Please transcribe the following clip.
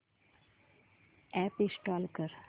app install कर